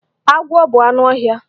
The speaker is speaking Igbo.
Agwọ bụ anụ ọhịa.